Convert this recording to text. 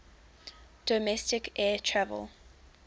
domestic air travel